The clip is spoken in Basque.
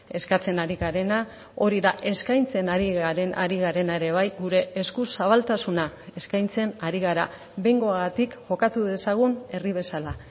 eskatzen ari garena hori da eskaintzen ari garena ere bai gure eskuzabaltasuna eskaintzen ari gara behingoagatik jokatu dezagun herri bezala